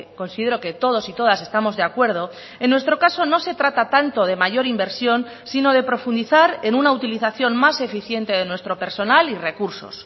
considero que todos y todas estamos de acuerdo en nuestro caso no se trata tanto de mayor inversión sino de profundizar en una utilización más eficiente de nuestro personal y recursos